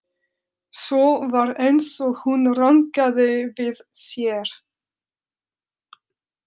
Svo var eins og hún rankaði við sér.